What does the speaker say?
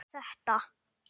Og hvað var þetta?